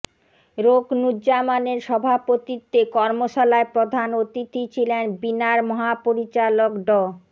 রোকনূজ্জামানের সভাপতিত্বে কর্মশালায় প্রধান অতিথি ছিলেন বিনার মহাপরিচালক ড